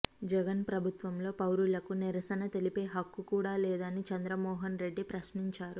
జగన్ ప్రభుత్వంలో పౌరులకు నిరసన తెలిపే హక్కు కూడా లేదా అని చంద్రమోహన్ రెడ్డి ప్రశ్నించారు